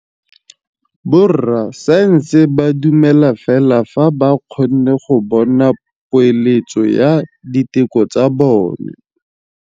Borra saense ba dumela fela fa ba kgonne go bona poeletsô ya diteko tsa bone.